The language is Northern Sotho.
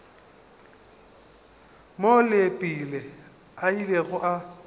moo leepile a ilego a